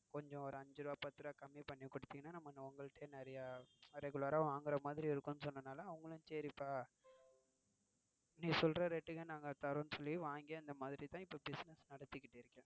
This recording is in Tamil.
கொஞ்சம் ஒரு அஞ்சு ரூபா பத்து ரூபா கம்மி படுத்தி கொடுத்தீங்கனா நம்ம உங்கள்கிட்டயே நிறய regular ரா வாங்குற, மாதிரி இருக்கும்னு சொன்னதுனால அவங்களும் சரிப்பா நீ சொல்ற rate க்கே நாங்க தரோம்னு சொல்லித்தான் இப்போ business நடத்திட்டு இருக்கேன்.